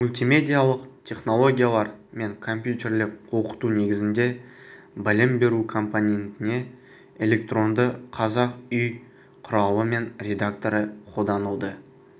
мультимедиалық технологиялар мен компьютерлік оқыту негізінде білім беру компонентіне электронды қазақ үй құралы мен редакторы қолданылды